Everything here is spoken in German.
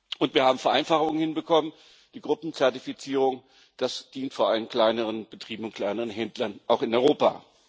Und wir haben Vereinfachungen hinbekommen die Gruppenzertifizierung das dient vor allem kleineren Betrieben und kleineren Händlern, auch in Europa.